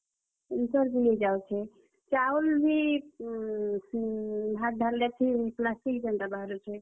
Cancer ବି ହେଇଯାଉଛେ। ଚାଉଲ୍ ବି, ହୁଁ, ହୁଁ, ଭାତ୍ ଧରଲେ plastic ଏନ୍ ତା ବାହାରୁଛେ।